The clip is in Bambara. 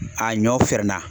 A ɲɔ fɛrɛ na.